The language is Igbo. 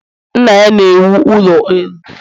Nna ya na-ewu ụlọ elu